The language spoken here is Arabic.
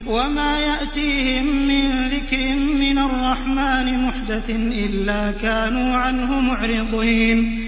وَمَا يَأْتِيهِم مِّن ذِكْرٍ مِّنَ الرَّحْمَٰنِ مُحْدَثٍ إِلَّا كَانُوا عَنْهُ مُعْرِضِينَ